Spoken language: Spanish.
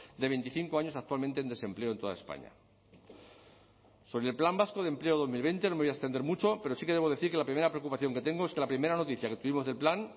de veinticinco años actualmente en desempleo en toda españa sobre el plan vasco de empleo dos mil veinte no me voy a extender mucho pero sí que debo decir que la primera preocupación que tengo es que la primera noticia que tuvimos del plan